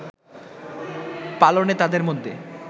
পালনে তাদের মধ্যে